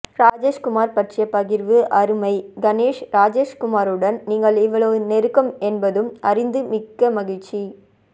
ராஜேஷ்குமார் பற்றிய பகிர்வு அருமை கணேஷ் ராஜேஷ்குமருடன் நீங்கள் இவ்வளவு நெருக்கம் என்பதும் அறிந்து மிக்க மகிழ்ச்சி